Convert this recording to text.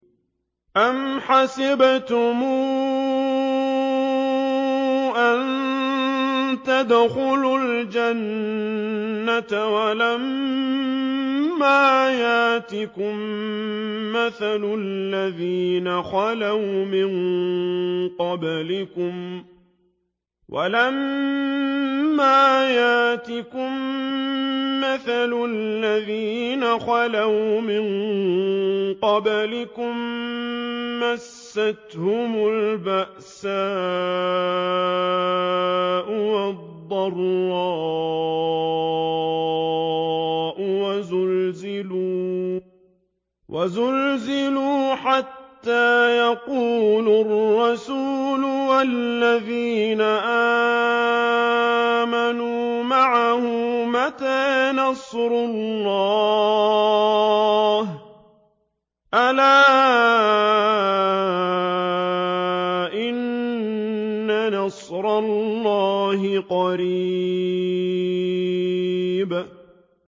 أَمْ حَسِبْتُمْ أَن تَدْخُلُوا الْجَنَّةَ وَلَمَّا يَأْتِكُم مَّثَلُ الَّذِينَ خَلَوْا مِن قَبْلِكُم ۖ مَّسَّتْهُمُ الْبَأْسَاءُ وَالضَّرَّاءُ وَزُلْزِلُوا حَتَّىٰ يَقُولَ الرَّسُولُ وَالَّذِينَ آمَنُوا مَعَهُ مَتَىٰ نَصْرُ اللَّهِ ۗ أَلَا إِنَّ نَصْرَ اللَّهِ قَرِيبٌ